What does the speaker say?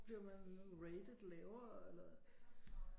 Bliver man rated lavere eller